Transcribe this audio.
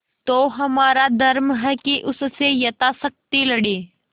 तो हमारा धर्म है कि उससे यथाशक्ति लड़ें